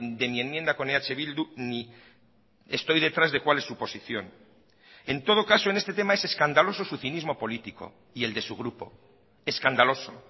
de mi enmienda con eh bildu ni estoy detrás de cuál es su posición en todo caso en este tema es escandaloso su cinismo político y el de su grupo escandaloso o